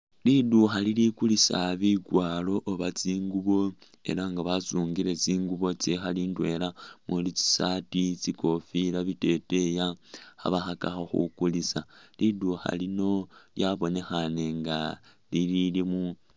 Liduukha lili kulisa bikwaaro oba tsinguubo ela nga basungile tsinguubo tsikhaali ndwela umuli tsisaati, tsikofila, biteteyi, khabakhakakho khukulisa. Liduukha lino lyabonekhane nga lililimu...